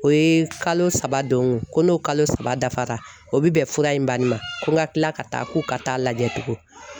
O ye kalo saba don ko n'o kalo saba dafara o bɛ bɛn fura in banni ma ko n ka kila ka taa k'u ka taa lajɛ tugun